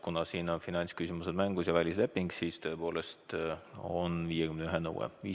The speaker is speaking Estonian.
Kuna siin on aga finantsküsimused mängus ja tegemist välislepinguga, siis tõepoolest on kehtestatud 51 hääle nõue.